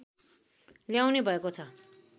ल्याउने भएको छ